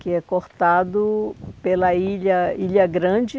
que é cortado pela Ilha Ilha Grande.